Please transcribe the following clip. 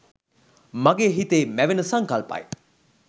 මගේ හිතෙ මැවෙන සංකල්පයි.